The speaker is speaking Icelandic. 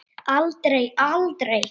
Aldrei, aldrei!